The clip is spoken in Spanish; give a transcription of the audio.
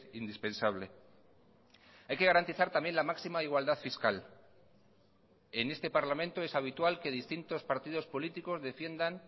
indispensable hay que garantizar también la máxima igualdad fiscal en este parlamento es habitual que distintos partidos políticos defiendan